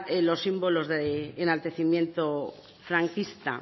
los símbolos de enaltecimiento franquista